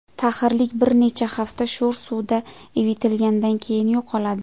Taxirlik bir necha hafta sho‘r suvda ivitilgandan keyin yo‘qoladi.